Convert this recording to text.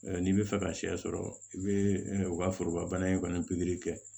N'i bɛ fɛ ka sɛ sɔrɔ i bɛ u ka foroba bana in kɔni kɛ